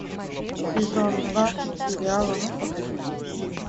сезон два сериала ну погоди